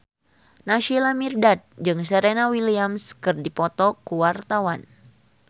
Naysila Mirdad jeung Serena Williams keur dipoto ku wartawan